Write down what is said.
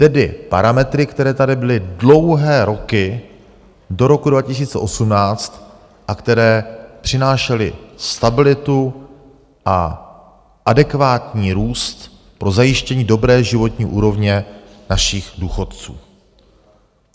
Tedy parametry, které tady byly dlouhé roky do roku 2018 a které přinášely stabilitu a adekvátní růst pro zajištění dobré životní úrovně našich důchodců.